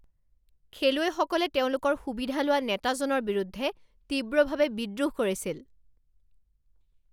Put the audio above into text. খেলুৱৈসকলে তেওঁলোকৰ সুবিধা লোৱা নেতাজনৰ বিৰুদ্ধে তীব্ৰভাৱে বিদ্ৰোহ কৰিছিল।